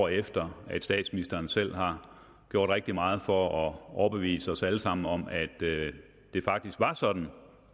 år efter at statsministeren selv har gjort rigtig meget for at overbevise os alle sammen om at det faktisk var sådan